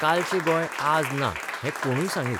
कालचें गोंय आज ना हें कोणूय सांगीत.